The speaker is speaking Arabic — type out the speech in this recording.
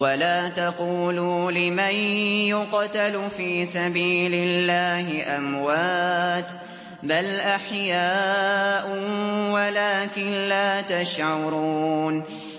وَلَا تَقُولُوا لِمَن يُقْتَلُ فِي سَبِيلِ اللَّهِ أَمْوَاتٌ ۚ بَلْ أَحْيَاءٌ وَلَٰكِن لَّا تَشْعُرُونَ